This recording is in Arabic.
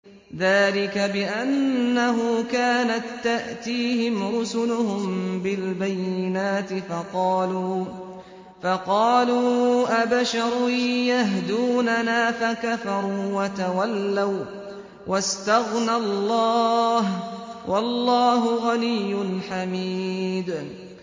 ذَٰلِكَ بِأَنَّهُ كَانَت تَّأْتِيهِمْ رُسُلُهُم بِالْبَيِّنَاتِ فَقَالُوا أَبَشَرٌ يَهْدُونَنَا فَكَفَرُوا وَتَوَلَّوا ۚ وَّاسْتَغْنَى اللَّهُ ۚ وَاللَّهُ غَنِيٌّ حَمِيدٌ